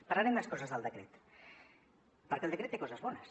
parlaré de més coses del decret perquè el decret té coses bones